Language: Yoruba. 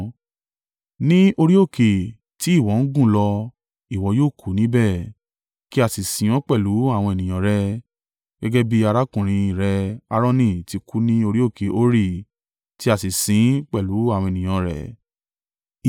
Ní orí òkè tí ìwọ ń gùn lọ ìwọ yóò kùú níbẹ̀, kí a sì sin ọ́ pẹ̀lú àwọn ènìyàn rẹ, gẹ́gẹ́ bí arákùnrin in rẹ Aaroni ti kú ní orí òkè Hori tí a sì sin ín pẹ̀lú àwọn ènìyàn an rẹ̀.